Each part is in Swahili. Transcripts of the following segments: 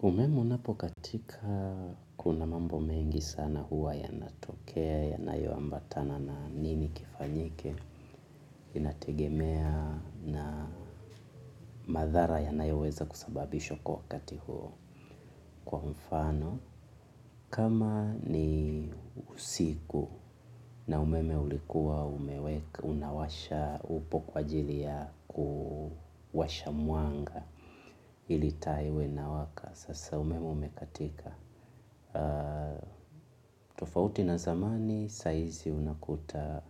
Umeme unapokatika kuna mambo mengi sana huwa yanatokea, yanayoambatana na nini kifanyike, inategemea na madhara yanayoweza kusababishwa kwa wakati huo kwa mfano. Kama ni usiku na umeme ulikuwa, unawasha upo kwa ajili ya kuwasha mwanga, ili taa iwe inawaka, sasa umeme umekatika. Tofauti na zamani saa hizi unakuta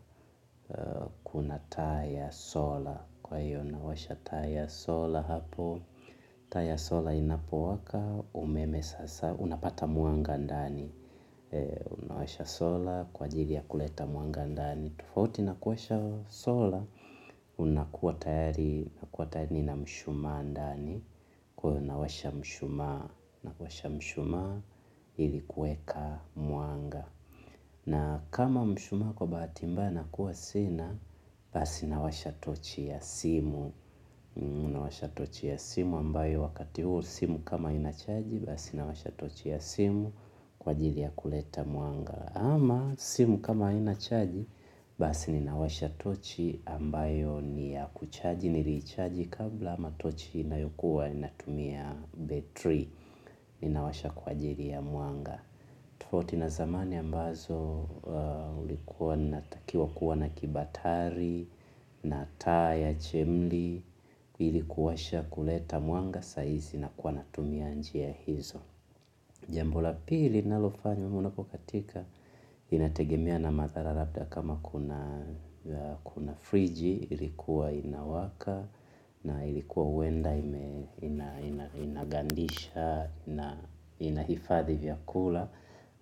kuna taa ya sola kwa hiyo unawasha taa ya sola hapo taa ya sola inapowaka umeme sasa unapata mwanga ndani. Unawasha sola kwa ajili ya kuleta mwanga ndani tofauti na kuwasha sola unakuwa tayari na mshumaa ndani kwa hio unawasha mshumaa unawasha mshumaa ili kuweka mwanga na kama mshumaa kwa bahati mbaya nakuwa sina basi nawasha tochi ya simu. Nawasha tochi ya simu ambayo wakati huo simu kama inachaji basi nawasha tochi ya simu kwa ajili ya kuleta mwanga ama simu kama inachaji basi ninawasha tochi ambayo niya kuchaji niliichaji kabla ama tochi inayokuwa inatumia betri. Ninawasha kwa ajili ya mwanga tofauti na zamani ambazo ulikuwa natakiwa kuwa na kibatari na taa ya chemli ili kuwasha kuleta mwanga saa hizi nakuwa natumia njia hizo jambo la pili ninalofanya umeme unapokatika inategemea na mathara labda kama kuna friji ilikuwa inawaka na ilikuwa huenda ina inagandisha na inahifadhi vyakula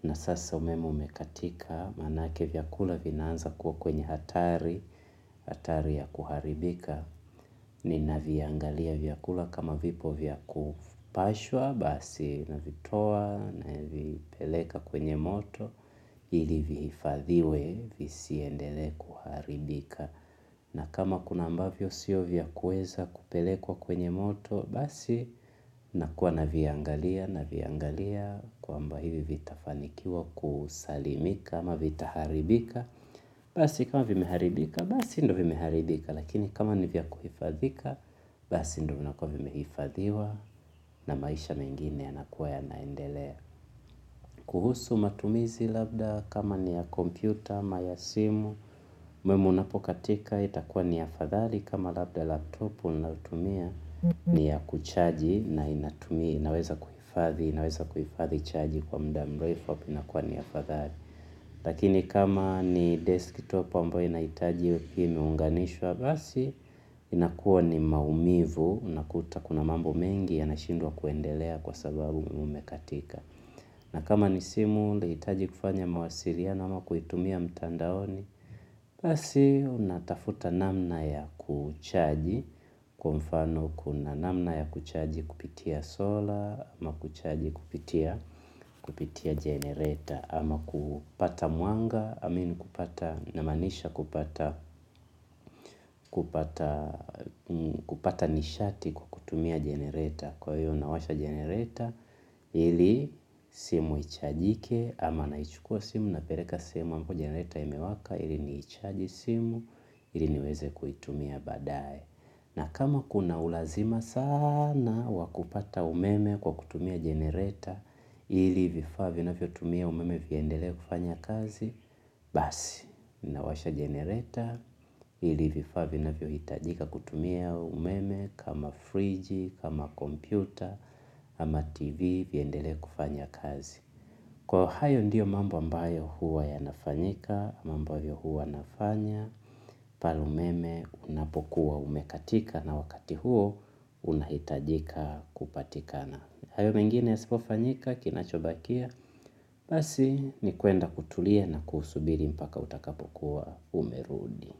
na sasa umeme umekatika manake vyakula vinaanza kuwa kwenye hatari hatari ya kuharibika. Ninaviangalia vyakula kama vipo vya kupashwa basi navitoa navipeleka kwenye moto ili vihifadhiwe visiendele kuharibika na kama kuna ambavyo sio vya kuweza kupelekwa kwenye moto basi nakuwa naviangalia naviangalia kwamba hivi vitafanikiwa kusalimika ama vitaharibika basi kama vimeharibika basi ndio vimeharibika lakini kama ni vya kuhifadhika, basi ndio vinakuwa vimehifadhiwa na maisha mengine yanakuwa yanaendelea kuhusu matumizi labda kama ni ya kompyuta, ama ya simu, umeme unapokatika itakuwa ni afadhali kama labda laptop unatumia ni ya kuchaji na inatumia, inaweza kuhifadhi, inaweza kuhifadhi chaji kwa muda mrefu inakuwa ni afadhali lakini kama ni desktop ambao inahitaji ikuwe imeunganishwa basi inakuwa ni maumivu unakuta kuna mambo mengi yanashindwa kuendelea kwa sababu umeme umekatika na kama ni simu nahitaji kufanya mawasiliano ama kuitumia mtandaoni jambo la pili ninalofanya umeme unapokatika inategemea na mathara labda kama kuna friji ilikuwa inawaka na ilikuwa huenda ina kupata nishati kwa kutumia jenereta kwa hiyo nawasha jenereta ili simu ichajike ama naichukua simu napeleka simu ambayo jenereta imewaka ili nichaji simu ili niweze kuitumia baadae na kama kuna ulazima sana w akupata umeme kwa kutumia jenereta ili vifaa vinafyotumia umeme viendelee kufanya kazi basi, nawasha generator ili vifaa vinavyohitajika kutumia umeme kama fridge, kama kompyuta ama tv viendelee kufanya kazi kwa hayo ndio mambo ambayo huwa yanafanyika ama ambavyo huwa nafanya pale umeme unapokuwa umekatika na wakati huo unahitajika kupatikana hayo mengine yasipofanyika kinachobakia basi ni kwenda kutulia na kusubiri mpaka utakapokuwa umerudi.